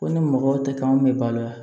Ko ni mɔgɔw tɛ kan bɛ balo yan